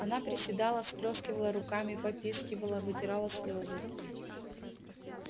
она приседала всплёскивала руками попискивала вытирала слёзы